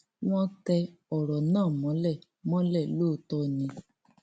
wọn tẹ ọrọ náà mọlẹ mọlẹ lóòótọ ni